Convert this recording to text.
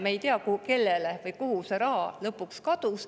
Me ei tea, kellele või kuhu see raha lõpuks kadus.